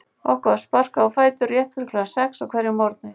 Okkur var sparkað á fætur rétt fyrir klukkan sex á hverjum morgni.